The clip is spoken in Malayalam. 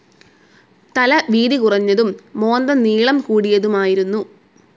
തല വീതി കുറഞ്ഞതും മോന്ത നീളം കൂടിയതുമായിരുന്നു.